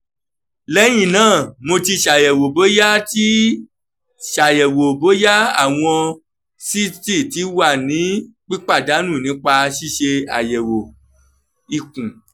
lẹhinna mo ti ṣayẹwo boya ti ṣayẹwo boya awọn cyste ti wa ni pipadanu nipa ṣiṣe ayẹwo ikun